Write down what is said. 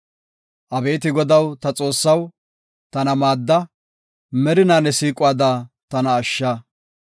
Abeeti Godaw ta Xoossaw, tana maadda; merinaa ne siiquwada tana ashsha.